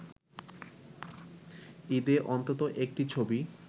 ঈদে অন্তত একটি ছবি